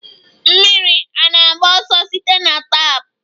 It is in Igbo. Mmiri ana-agba ọsọ site na tap?